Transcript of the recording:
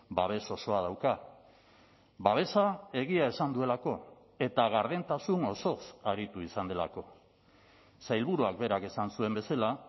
babes osoa dauka babesa egia esan duelako eta gardentasun osoz aritu izan delako sailburuak berak esan zuen bezala